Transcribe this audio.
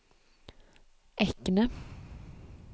Ekne